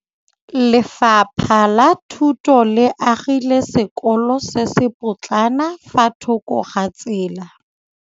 Lefapha la Thuto le agile sekôlô se se pôtlana fa thoko ga tsela.